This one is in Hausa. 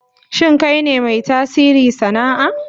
Shin kai ne mai tasiri sana'a?